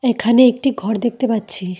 এখানে একটি ঘর দেখতে পাচ্ছি।